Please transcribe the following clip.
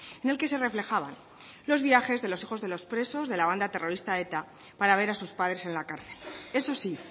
en el que se reflejaban los viajes de los hijos de los presos de la banda terrorista eta para ver a sus padres en la cárcel eso sí